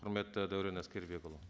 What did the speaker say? құрметті дәурен әскербекұлы